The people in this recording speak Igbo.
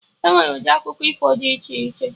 Enwere ụdị akụkọ ifo dị iche iche